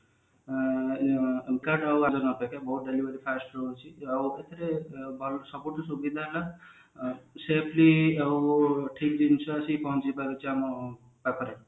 ଆଉ ଏଥିରେ ଭଲ ସବୁଠୁ ସୁବିଧା safety ଆଉ ଠିକ ଜିନିଷ ଆସି ପହଞ୍ଚି ପାରୁଛି ଆମ ପାଖରେ